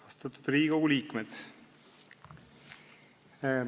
Austatud Riigikogu liikmed!